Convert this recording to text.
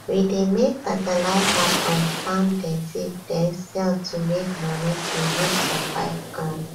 we dey make fertilizer from farm dirty den sell to make money to use survive um